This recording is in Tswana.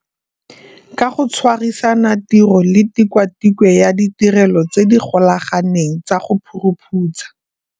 Ka go tshwa risana tiro le Tikwatikwe ya Ditirelo tse di Golaganeng tsa go Phuruphutsha.